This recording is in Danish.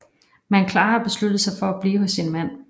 Men Klara har besluttet sig at blive hos sin mand